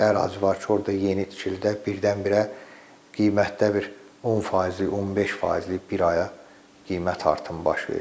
Elə ərazi var ki, orda yeni tikilidə birdən-birə qiymətdə bir 10%-lik, 15%-lik bir aya qiymət artımı baş verir.